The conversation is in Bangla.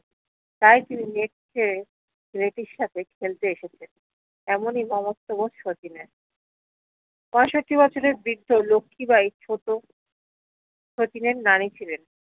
তাই তিনি নেচ্ছছে রেতির সাথে খেলতে এসেছে এমনই মমত্ববোধ শচীনের পঁয়ষট্টি বছরের বৃদ্ধ লক্ষি বাই ছোট শচীন এর নানি ছিলেন